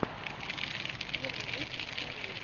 первый выпуск поэзи